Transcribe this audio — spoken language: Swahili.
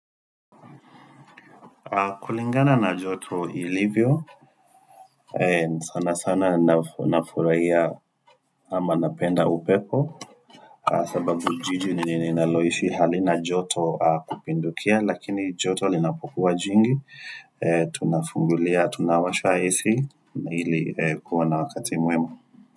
Kulingana na joto ilivyo, sana sana nafurahia ama napenda upepo, sababu jiji ni ninaloishi hali na joto kupindukia, lakini joto linapokua jingi, tunafungulia, tunawasha Ac. Na hili kuwa na wakati muema.